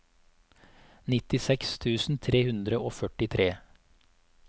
nittiseks tusen tre hundre og førtitre